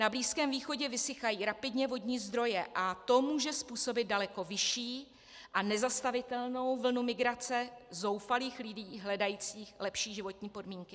Na Blízkém východě vysychají rapidně vodní zdroje a to může způsobit daleko vyšší a nezastavitelnou vlnu migrace zoufalých lidí hledajících lepší životní podmínky.